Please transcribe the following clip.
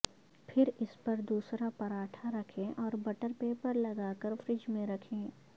پھر اس پر دوسرا پر اٹھا رکھیں اور بٹر پیپر لگا کر فریج میں رکھیں